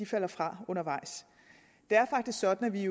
falder fra undervejs det er faktisk sådan at vi